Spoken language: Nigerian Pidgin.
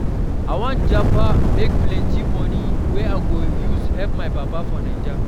I wan japa, make plenty money wey I go use help my pipo for Naija.